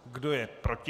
Kdo je proti?